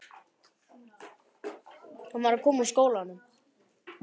Hann var að koma úr skólanum.